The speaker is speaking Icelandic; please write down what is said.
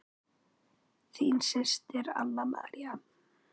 Þín systir, Anna María.